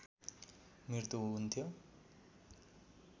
मृत्यु हुन्थ्यो